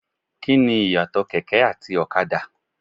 Kíni Ìyàtọ̀ kẹ̀kẹ́ àti ọ̀kadà?